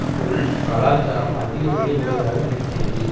பொருள் கலாச்சாரம் அதிக விலை உடையதாக இருக்கிறது